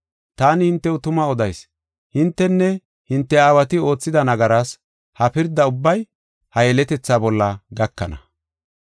Taani hintew tuma odayis; hintenne hinte aawati oothida nagaraas ha pirda ubbay ha yeletethaa bolla gakana.